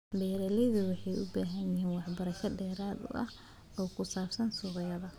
Beeraleydu waxay u baahan yihiin waxbarasho dheeraad ah oo ku saabsan suuqyada.